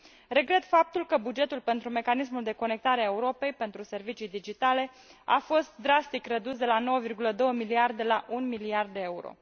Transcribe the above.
Regret faptul că bugetul pentru mecanismul de Conectare a Europei pentru servicii digitale a fost drastic redus, de la 9,2 miliarde la 1 miliard de euro.